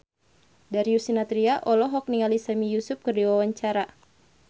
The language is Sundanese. Darius Sinathrya olohok ningali Sami Yusuf keur diwawancara